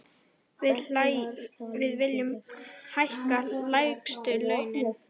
Við viljum hækka lægstu launin.